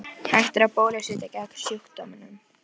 Hægt er að bólusetja gegn sjúkdómnum.